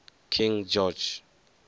king george